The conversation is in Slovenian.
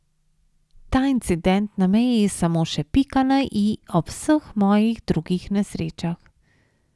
Ta incident na meji je samo še pika na i ob vseh mojih drugih nesrečah.